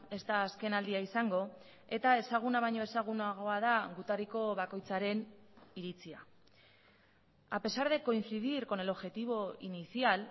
ez da azkenaldia izango eta ezaguna baino ezagunagoa da gutariko bakoitzaren iritzia a pesar de coincidir con el objetivo inicial